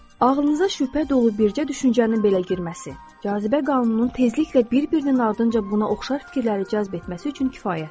Ağlınıza şübhə dolu bircə düşüncənin belə girməsi, cazibə qanununun tezliklə bir-birinin ardınca buna oxşar fikirləri cəzb etməsi üçün kifayətdir.